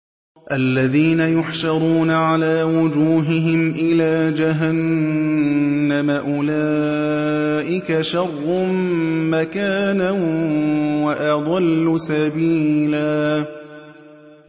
الَّذِينَ يُحْشَرُونَ عَلَىٰ وُجُوهِهِمْ إِلَىٰ جَهَنَّمَ أُولَٰئِكَ شَرٌّ مَّكَانًا وَأَضَلُّ سَبِيلًا